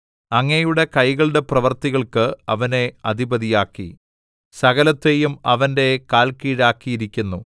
അങ്ങയുടെ കൈകളുടെ പ്രവൃത്തികൾക്ക് അവനെ അധിപതിയാക്കി സകലത്തെയും അവന്റെ കാൽക്കീഴാക്കിയിരിക്കുന്നു